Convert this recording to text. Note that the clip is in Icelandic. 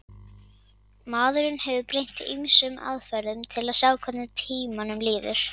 maðurinn hefur beitt ýmsum aðferðum til að sjá hvernig tímanum líður